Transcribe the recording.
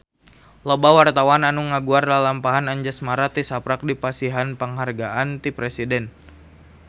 Loba wartawan anu ngaguar lalampahan Anjasmara tisaprak dipasihan panghargaan ti Presiden